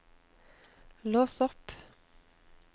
lås opp